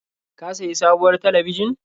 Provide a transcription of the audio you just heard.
Ka sayi sabuwar talabijin?